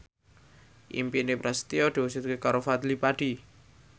impine Prasetyo diwujudke karo Fadly Padi